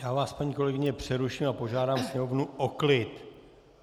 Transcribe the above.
Já vás, paní kolegyně, přeruším a požádám sněmovnu o klid!